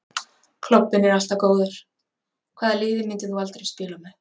Klobbinn er alltaf góður Hvaða liði myndir þú aldrei spila með?